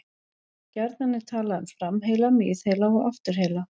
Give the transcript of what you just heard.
Gjarnan er talað um framheila, miðheila og afturheila.